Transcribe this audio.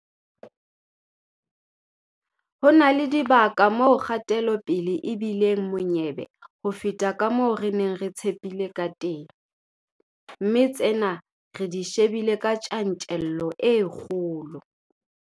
Ho na le dibaka moo kgatelopele e bi leng monyebe ho feta ka moo re neng re tshepile kateng, mme tsena re di shebile ka tjantjello e kgolo.